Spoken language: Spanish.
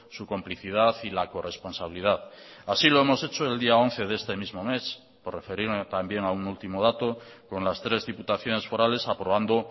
su complicidad y la corresponsabilidad así lo hemos hecho el día once de este mismo mes por referirme también a un último dato con las tres diputaciones forales aprobando